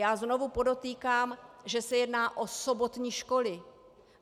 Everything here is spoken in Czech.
Já znovu podotýkám, že se jedná o sobotní školy.